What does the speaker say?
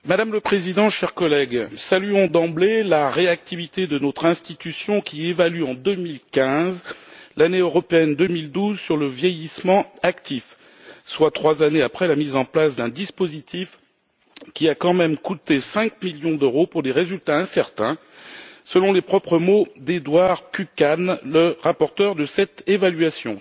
Madame la Président, chers collègues, saluons d'emblée la réactivité de notre institution, qui évalue en 2015 l'année européenne 2012 sur le vieillissement actif, soit trois années après la mise en place d'un dispositif qui a quand même coûté cinq millions d'euros pour des résultats incertains, selon les propres mots d'Eduard Kukan, le rapporteur de cette évaluation.